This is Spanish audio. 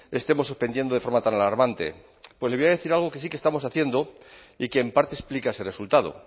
estemos suspendiendo de forma tan alarmante pues le voy a decir algo que sí que estamos haciendo y que en parte explica ese resultado